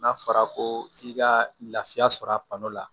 N'a fɔra ko i ka lafiya sɔrɔ a kɔnɔ la